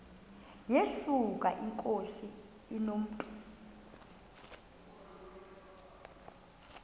yesuka inkosi inomntu